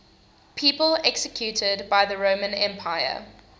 people executed by the roman empire